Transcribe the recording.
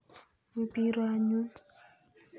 Wi pi ru anyun.